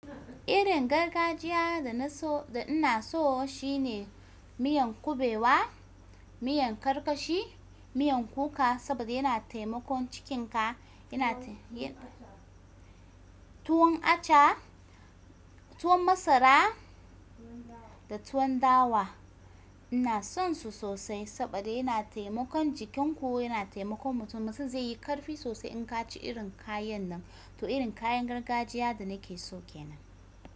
Irin gargajiya da na so da ina so shine miyan kubewa, miyan karkashi, miyan kuka saboda yana taimakon cikinka, tuwon acha, tuwon masara da tuwon dawa. Ina sonsu sosai saboda yana taimakon jikinku, yana taimakon mutum. Mutum zai yi karfi sosai in ka ci irin kayan nan, to irin kayan gargajiya da nake so ke nan.